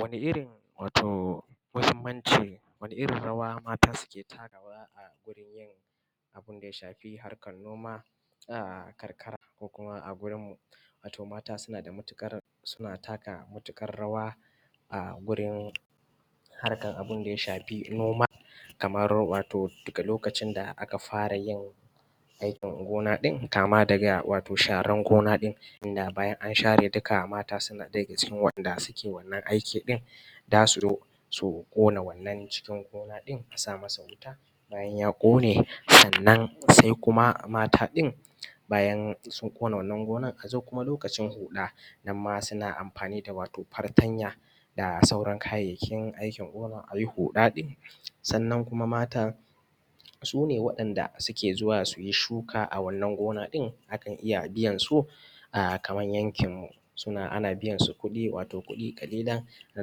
wani irin wato muhimmanci wani irin rawa mata su ke takawa gurin yin abunda ya shafi harkar noma a karkara ko kuma a gurin mu wato mata suna da matuƙar suna taka matuƙar rawa a gurin harkar abunda ya shafi noma kamar wato a lokacin da aka fara yin aikin gona ɗin kama daga wato sharan gona ɗin inda bayan an share mata suna ɗaya daga cikin masu yin wannan aiki ɗin zasu ƙona wannan cikin gona ɗin a sama masa wuta bayan ya ƙone sannan sai kuma mata ɗin bayan sun ƙona wannan gona azo kuma lokacin huɗa nan ma suna amfani da wato fatanya da sauran kayayyakin aikin gona ayi huɗa ɗin sannan kuma mata sune waɗanda suke zuwa suyi shuka a wannan gona ɗin akan iya biyan su a kaman yankin mu ana biyan su kuɗi wato kuɗi kalilan da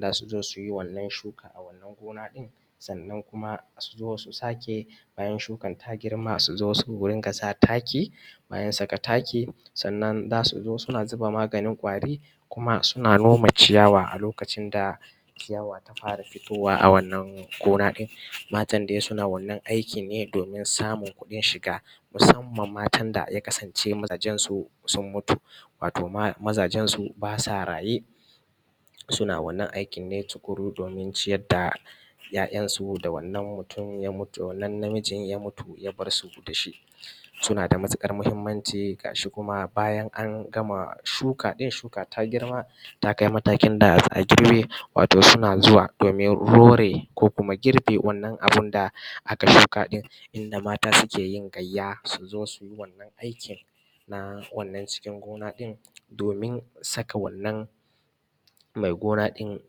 zasu zo suyi wannan shukan a wannan gona ɗin sannan kuma su zo su sake bayan shukan ta girma su zo su rinka sa taki bayan saka taki sannan zasu zo suna zuba maganin ƙwari kuma suna noma ciyawa a lokacin da ciyawa ta fara fitowa a wannan gona ɗin matan dai suna wannan aikin domin samun kuɗin shiga musamman mata da ya kasance mazajen su sun mutu wato mazajen su basu raye suna wannan aikin ne tuƙuru domin ciyar da ‘ya’yan su da wannan mutum ya mutu wannan namijin ya mutu ya bar su dashi suna da matuƙar muhimmanci gashi kuma a bayan an gama shuka ɗin shuka ta girma ta kai matakin da za a girɓe wato suna zuwa domin hore ko kuma girɓe wannan abunda aka shuka ɗin inda mata suke yin gayya su zo suyi wannan aikin na wannan cikin gona ɗin domin saka wannan mai gona ɗin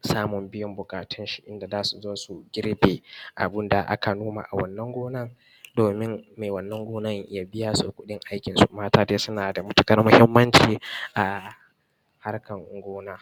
samun biyan buƙatun shi inda zasu zo su girɓe abunda aka noma a wannan gonan domin mai wannan gonan ya biya su kuɗin aikin su mata dai suna da matuƙar muhimmanci a harkar gona